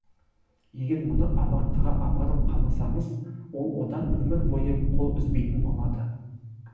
егер мұны абақтыға апарып қамасаңыз ол одан өмір бойы қол үзбейтін болады